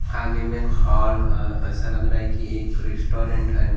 आगे मे एक हॉल है ऐसा लग रहा है कि एक रेस्टोरेंट हे।